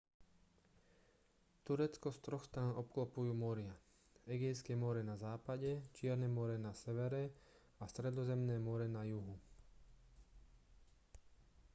turecko z troch strán obklopujú moria egejské more na západe čierne more na severe a stredozemné more na juhu